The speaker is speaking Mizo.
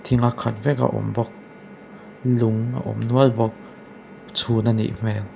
thing a khat vek a awm bawk lung a awm nual bawk chhun a nih hmel.